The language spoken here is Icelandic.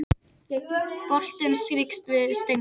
Boltinn strýkst við stöng